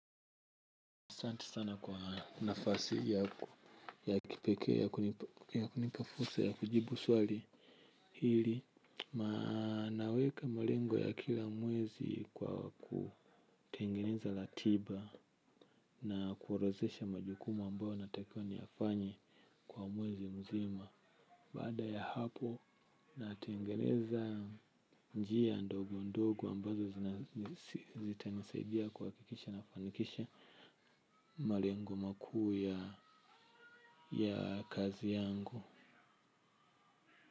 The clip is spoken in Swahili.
Asante sana kwa nafasi ya kipekee ya kunipa fursa ya kujibu swali hili naweka malengo ya kila mwezi kwa kutengeneza ratiba na kuorodhesha majukumu ambayo natakiwa niyafanye kwa mwezi mzima. Baada ya hapo natengeneza njia ndogo ndogo ambazo zitanisaidia kuhakikisha nafanikisha mali yangu makuu ya kazi yangu.